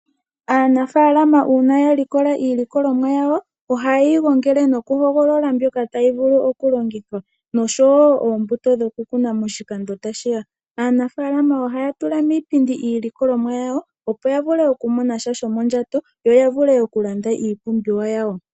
Aanafalama uuna ya likola iilikolomwa yawo ohaye yi gongele nokuhogolola mo mboka tayi vulu okulongithwa noshowo oombuto ndhoka tadhii vulu okukunwa moshilando tashi ya. Aanafaalama ohaya tula miipindi iilikulomwa yawo opo ya vule okumona mo sha shomondjato yo ya vule okulanda iipumbiwa yawo.